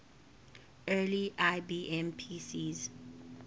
early ibm pcs